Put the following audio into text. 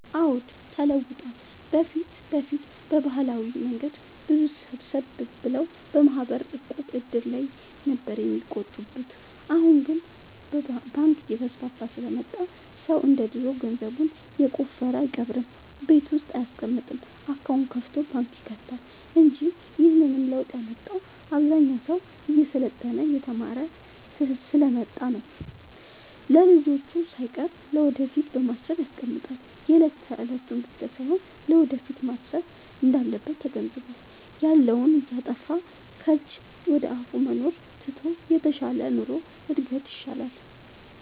አዎድ ተለውጧል በፊት በፊት በባህላዊ መንገድ ሰዎች ሰብሰብ ብለው በማህበር፣ ዕቁብ፣ እድር ላይ ነበር የሚቆጥቡት አሁን ግን ባንክ እየተስፋፋ ስለመጣ ሰው እንደ ድሮ ገንዘቡን የቆፈረ አይቀብርም ቤት ውስጥ አይያስቀምጥም አካውንት ከፋቶ ባንክ ይከታል እንጂ ይህንንም ለውጥ ያመጣው አብዛኛው ሰው እየሰለጠነ የተማረ ስሐ ስለመጣ ነው። ለልጅቹ ሳይቀር ለወደፊት በማሰብ ያስቀምጣል የለት የለቱን ብቻ ሳይሆን ለወደፊቱም ማሰብ እንዳለበት ተገንዝቧል። ያለውን እያጠፋፋ ከጅ ወደአፋ መኖሩን ትቶ የተሻለ ኑሮ እድገት ይሻል።